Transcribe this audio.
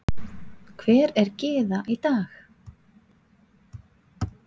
Hver er Gyða í dag?